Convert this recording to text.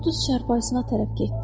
O düz çarpayısına tərəf getdi.